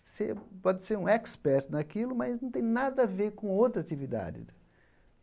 Você pode ser um expert naquilo, mas não tem nada a ver com outra atividade.